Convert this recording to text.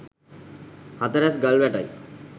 හතරැස් ගල් වැටයි.